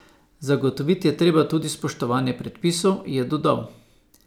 Zagotoviti je treba tudi spoštovanje predpisov, je dodal.